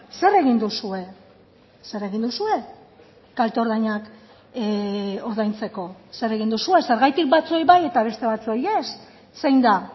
zer egin duzue zer egin duzue kalte ordainak ordaintzeko zer egin duzue zergatik batzuei bai eta beste batzuei ez zein da